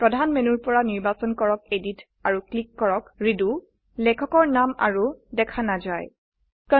প্ৰধান মেনুৰ পৰা নিৰ্বাচন কৰক Editআৰু ক্লিক কৰক ৰেডো লেখকৰ নাম আৰু দেখা নাযায়160